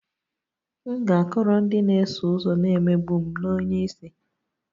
M ga-akọrọ ndị na-eso ụzọ na-emegbu m na onye isi